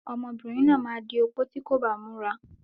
Ọmọbìnrin náà máa di opó tí kò bá múra.